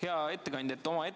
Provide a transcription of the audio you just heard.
Hea ettekandja!